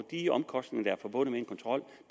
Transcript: de omkostninger der er forbundet med en kontrol